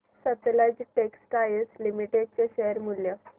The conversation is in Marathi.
सतलज टेक्सटाइल्स लिमिटेड चे शेअर मूल्य